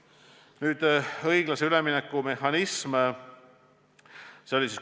Nüüd õiglase ülemineku mehhanismist.